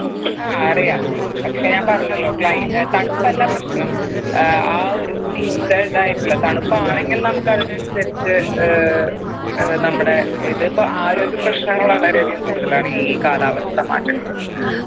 ആ അറിയാം പക്ഷെ ഞാൻ പറഞ്ഞല്ലോ CLI ഏർ തണുപ്പല്ല പ്രശ്നം ഏർ ഒരു mixed ആയിട്ടുള്ള തണുപ്പാണെങ്കിൽ നമുക്ക് അതിനനുസരിച്ച് ഏർ നമ്മുടെ ഇതിപ്പോ ആരോഗ്യ പ്രശ്നങ്ങൾ വളരെ അധികം കൂടുതലാണ് ഈ കാലാവസ്ഥ മാറ്റങ്ങൾ കൊണ്ട്